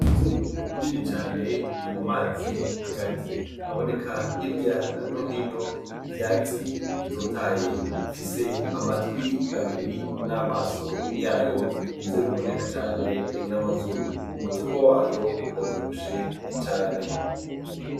Imvu nini cane iri mu mazi hagati haboneka hirya nohino ivyatsi bibitotaye ifise amatwi abiri n'amaso yayo ni vyo biboneka cane n'amazuru umutumba wayo uravyishe ecane.